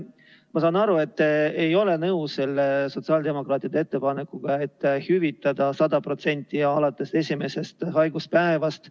Ma saan aru, et te ei ole nõus sotsiaaldemokraatide ettepanekuga hüvitada 100% alates esimesest haiguspäevast.